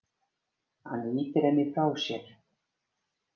Hann ýtir henni frá sér.